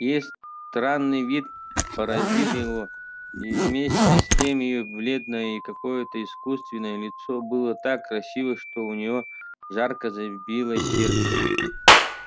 её странный вид поразил его и вместе с тем её бледное и какое-то исскуственное лицо было так красиво что у него ярко забилось сердце